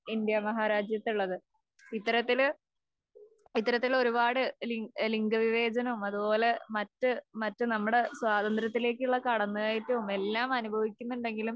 ഇന്ത്യാമഹാരാജ്യത്ത് ഉള്ളത്. ഇത്തരത്തില് ഇത്തരത്തിലുള്ള ഒരുപാട് ലിംഗവിവേചനവും അതുപോലെ മറ്റ്, മറ്റ് നമ്മുടെ സ്വാതന്ത്ര്യത്തിലേക്കുള്ള കടന്നുകയറ്റവും എല്ലാം അനുഭവിക്കുന്നുണ്ടെങ്കിലും